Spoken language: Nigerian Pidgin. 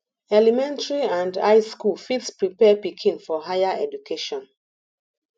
elementary and high school fit prepare pikin for higher education